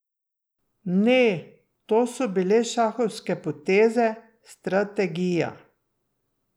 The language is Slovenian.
Ne, to so bile šahovske poteze, strategija.